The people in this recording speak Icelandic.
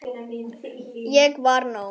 Ég var nóg.